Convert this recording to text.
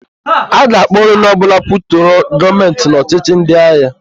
A ga-akpụrụ onye ọbụla kwutọrọ Gọọmentị n' ọchịchị ndịagha.